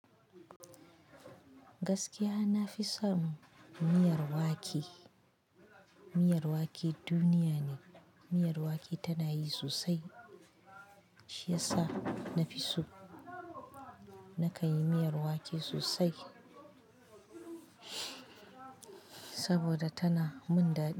Gaskiya na fi son miyar wake. Miyar wake duniya ne. Miyar wake tana yi sosai shiyasa na fi so, na kan yi miyar wake sosai saboda tana mun daɗi.